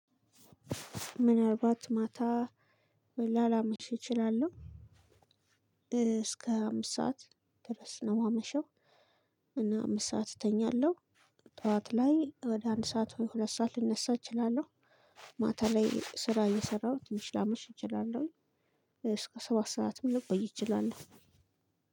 ምን አልባት ማታ ላላመሽ እችላለሁ። እስከ አምስት ሰዓት ድረስ ነው የማመሸው። እና አምስት ሰዓት እተኛለሁ። ጠዋት ላይ ወደ አንድ ሰዓት ወይ ሁለት ሰዓት ልነሳ እችላለሁ። ማታ ላይ ስራ የሰራሁ ትንሽ ላመሽ እችላለሁ። እስከ ሰባት ሰዓትም ልቆይ እችላለሁ።